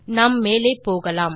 நாம் மேலே போகலாம்